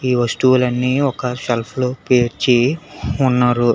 ఈ వస్తువులన్నీ ఒక సెల్ఫ్ లో పేర్చి ఉన్నారు.